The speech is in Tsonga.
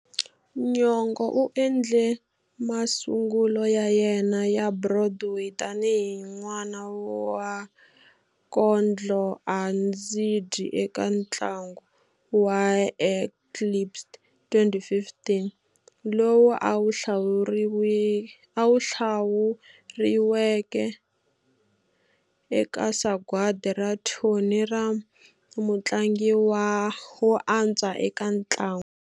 Nyong'o u endle masungulo ya yena ya Broadway tani hi n'wana wa kondlo-a-ndzi-dyi eka ntlangu wa Eclipsed, 2015, lowu a hlawuriweke eka Sagwadi ra Tony ra Mutlangi wo Antswa eka Ntlangu.